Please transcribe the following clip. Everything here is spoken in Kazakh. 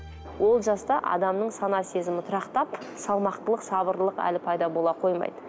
ол жаста адамның сана сезімі тұрақтап салмақтылық сабырлық әлі пайда бола қоймайды